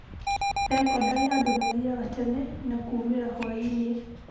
Thekondarĩ andũ mathiaga tene na kuumĩra hũainĩ.